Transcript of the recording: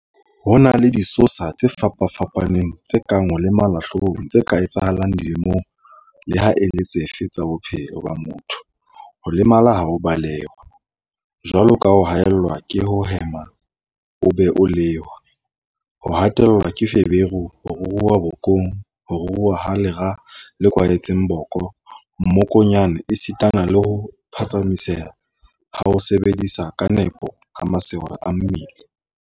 Ho na le disosa tse fapa-fapaneng tse kang ho lemala hloohong tse ka etsahalang dilemong leha e le dife tsa bophelo ba motho, ho lemala ha o belehwa, jwalo ka ho haellwa ke ho hema ha o be-lehwa, ho hatellwa ke feberu, ho ruruha bokong, ho ruruha ha lera le kwahetseng boko, mmokonyane esitana le ho phatsamiseha ha ho sebetsa ka nepo ha masole a mmele.